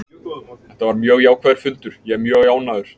Þetta var mjög jákvæður fundur, ég er mjög ánægður.